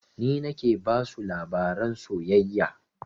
Ni nake basu labaran soyayya